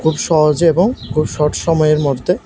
সহজে এবং খুব শর্ট সময়ের মধ্যে।